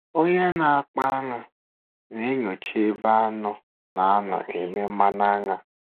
Onye na-akpa aṅụ na-enyocha ebe anụ na-anọ eme mmanụ aṅụ.